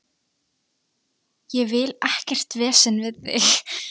Ég vil ekkert vesen við þig.